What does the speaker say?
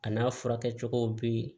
A n'a furakɛcogow be yen